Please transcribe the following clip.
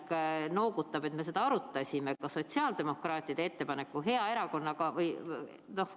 Ma loodan, et Õnne Pillak noogutab, et me seda arutasime – seda sotsiaaldemokraatide ettepaneku.